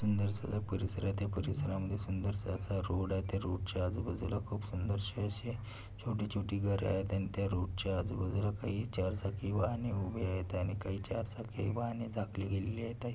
सुंदरस हा परिसर आहे त्या परिसरामध्ये सुंदरसा असा रोड आहे त्या रोडच्या आजूबाजूला खूप सुंदरसे आशे छोटी छोटी घरे आहेत अन त्या रोडच्या आजूबाजूला काही चार चाकी वाहने उभे आहेत आणि काही चारचाकी वाहने झाकले गेलेली आहेत.